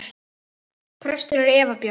Prestur er Eva Björk.